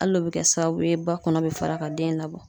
Hal'o be kɛ sababu ye ba kɔnɔ be fara ka den labɔ.